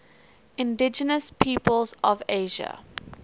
indigenous peoples of asia